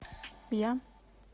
я